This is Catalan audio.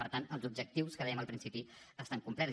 per tant els objectius que dèiem al principi estan complerts